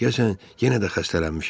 Deyəsən, yenə də xəstələnmişəm.